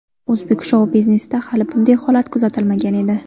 O‘zbek shou-biznesida hali bunday holat kuzatilmagan edi.